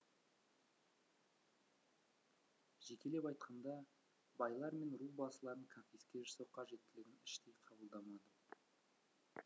жекелеп айтқанда байлар мен ру басыларын конфиске жасау қажеттілігін іштей қабылдамадым